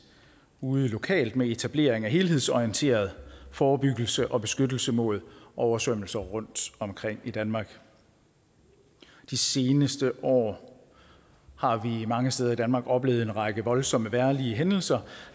ude lokalt med etablering af en helhedsorienteret forebyggelse og beskyttelse mod oversvømmelser rundtomkring i danmark de seneste år har vi mange steder i danmark oplevet en række voldsomme vejrhændelser